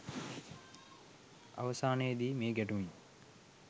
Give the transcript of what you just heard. අවසානයේ දී මේ ගැටුමින්